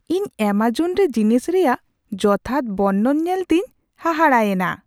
ᱤᱧ ᱮᱢᱚᱡᱚᱱ ᱨᱮ ᱡᱤᱱᱤᱥ ᱨᱮᱭᱟᱜ ᱡᱚᱛᱷᱟᱛ ᱵᱚᱨᱱᱚᱱ ᱧᱮᱞᱛᱮᱧ ᱦᱟᱦᱟᱲᱟᱜ ᱮᱱᱟ ᱾